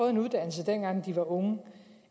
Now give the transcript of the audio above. en uddannelse dengang de var unge